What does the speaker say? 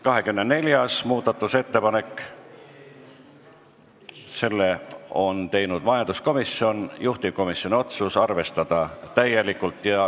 24. muudatusettepaneku on teinud majanduskomisjon, juhtivkomisjoni otsus: arvestada täielikult.